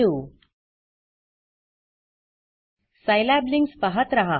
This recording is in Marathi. सिलाब linksसाईलॅब लिंक्स पाहत रहा